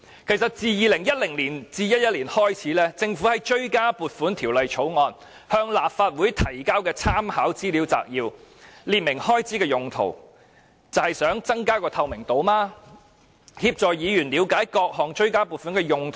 其實自 2010-2011 年度開始，政府就追加撥款條例草案向立法會提交參考資料摘要，列明追加撥款的原因，便是希望增加透明度，協助議員了解各項追加撥款的用途。